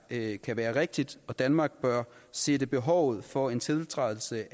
ikke kan være rigtigt og danmark bør sætte behovet for en tiltrædelse